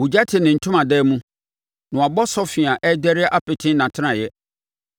Ogya te ne ntomadan mu; na wɔabɔ sɔfe a ɛrederɛ apete nʼatenaeɛ.